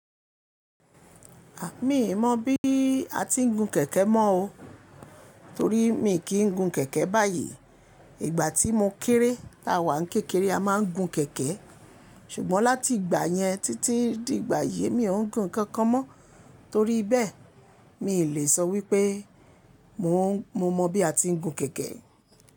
A! Mí mọ̀ bí a ti ń gun kẹ̀kẹ́ mọ́ o. Torí mi kì ń gun kẹ̀kẹ́ báyìí. Ìgbà tí mo kéré ta wà ń kékeré a máa ń gun kẹ̀kẹ́. Ṣùgbọ́n láti ìgbà yẹn títí di ìgbà yìí mi ò ń gun nǹkankan mọ́. Torí bẹ́ẹ̀ mi lè sọ wípé mo mọ bí a ti ń gun kẹ̀kẹ́